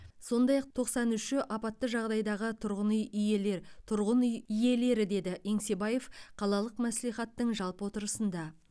сондай ақ тоқсан үші апатты жағдайдағы тұрғын үй иелер тұрғын үй иелері деді еңсебаев қалалық мәслихаттың жалпы отырысында